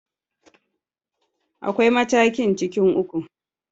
Akwai matakin cikin uku.